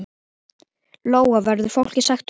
Lóa: Verður fólki sagt upp?